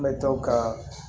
An bɛ to kaa